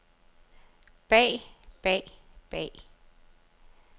bag bag bag